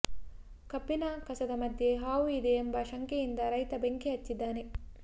ಕಬ್ಬಿನ ಕಸದ ಮಧ್ಯೆ ಹಾವು ಇದೆ ಎಂಬ ಶಂಕೆಯಿಂದ ರೈತ ಬೆಂಕಿ ಹಚ್ಚಿದ್ದಾನೆ